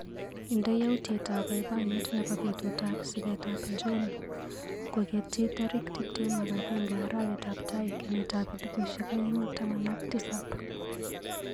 Indee yautyetab baibaiyet nebo betutap sigetab John kokeyti tarik tuptem ak agenge arawetap tai kenyitap elbushek aeng taman ak tisap.